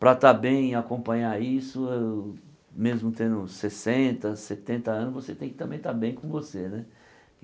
Para estar bem e acompanhar isso, uh mesmo tendo sessenta, setenta anos, você tem que também estar bem com você né.